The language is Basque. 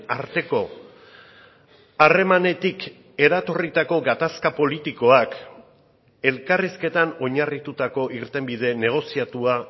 arteko harremanetik eratorritako gatazka politikoak elkarrizketan oinarritutako irtenbide negoziatua